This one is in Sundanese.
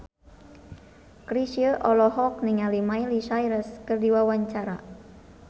Chrisye olohok ningali Miley Cyrus keur diwawancara